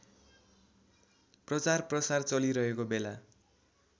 प्रचारप्रसार चलिरहेको बेला